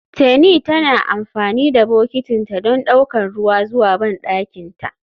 Teni tana amfani da bokitinta don ɗaukar ruwa zuwa bandakinta.